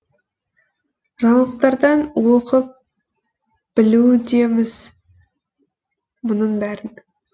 жаңалықтардан оқып білудеміз мұның бәрін